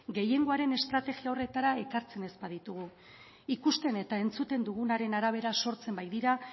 gehiengoaren estrategia horretara ekartzen ez baditugu ikusten eta entzuten dugunaren arabera sortzen baitira